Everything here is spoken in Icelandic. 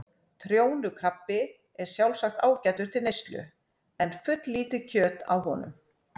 Trjónukrabbi er sjálfsagt ágætur til neyslu en fulllítið kjöt á honum.